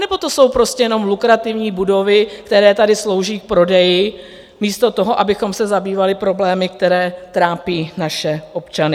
Anebo to jsou prostě jenom lukrativní budovy, které tady slouží k prodeji místo toho, abychom se zabývali problémy, které trápí naše občany?